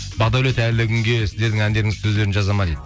бақдәулет әлі күнге сіздердің әндеріңіздің сөздерін жазады ма дейді